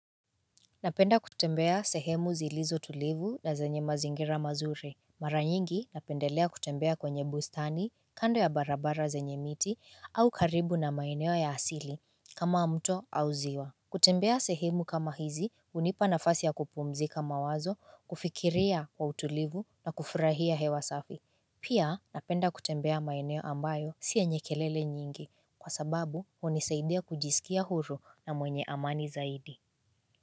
Napenda kutembea sehemu zilizotulivu na zenye mazingira mazuri Mara nyingi napendelea kutembea kwenye bustani kando ya barabara zenye miti au karibu na maeneo ya asili kama mto au ziwa kutembea sehemu kama hizi hunipa nafasi ya kupumzika mawazo kufikiria kwa utulivu na kufurahia hewa safi Pia napenda kutembea maeneo ambayo si yenye kelele nyingi kwa sababu hunisaidia kujisikia huru na mwenye amani zaidi.